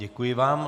Děkuji vám.